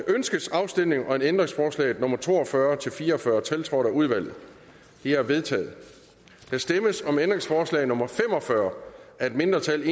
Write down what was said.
ønskes afstemning om ændringsforslagene nummer to og fyrre til fire og fyrre tiltrådt af udvalget de er vedtaget der stemmes om ændringsforslag nummer fem og fyrre af et mindretal